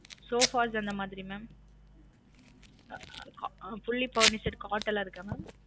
Soffas அந்த மாதிரி mam fully furnished cot லா இருக்கா mam